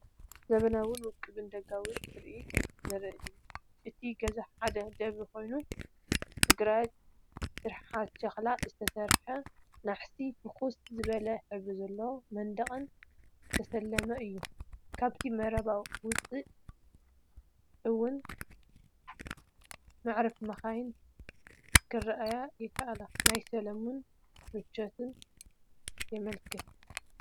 ዘመናውን ውቁብን ደጋዊ ትርኢት ዘርኢ እዩ። እቲ ገዛ ሓደ ደብሪ ኮይኑ ብግራጭ ስርሓት ሸኽላ ዝተሰርሐ ናሕስን ፍኹስ ዝበለ ሕብሪ ዘለዎ መንደቕን ዝተሰለመ እዩ። ካብቲ መረባ ወጻኢ ውን መዕረፊ መካይን ክርአ ይከኣል። ናይ ሰላምን ምቾትን የመልክት።